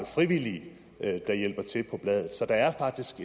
frivillige der hjælper til på bladet så der er faktisk